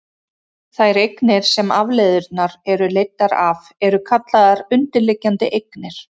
þær eignir sem afleiðurnar eru leiddar af eru kallaðar undirliggjandi eignir